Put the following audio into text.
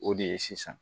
O de ye sisan